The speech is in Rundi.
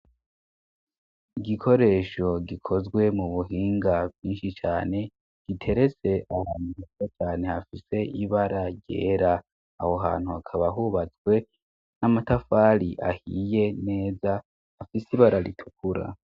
Igikoresho gikozwe mu buhinga bwinshi cane giterese ahohantu ura cane hafise ibara ryera awo hantu hakaba ahubatswe n'amatafali ahiye neza hafise ibararitukura.